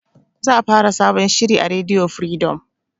Za a fara sabon shiri a rediyo firidom